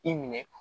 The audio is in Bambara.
I minɛ